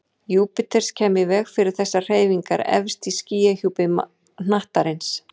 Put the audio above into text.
Júpíters kæmi í veg fyrir þessar hreyfingar efst í skýjahjúpi hnattarins.